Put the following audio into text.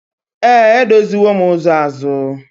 Ee, edoziwo m ụzọ ahu.